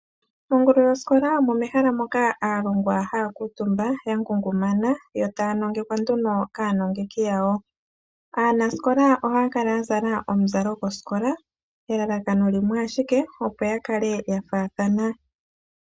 Mongulu yoskola omo mehaka moka aalongwa haya kuutumba yangungumana etaya nongekwa kaanongeki yawo aanasikola ohaya kala yazala omuzalo gwoskola elalakano limwe ashike opo yakale yafaathana.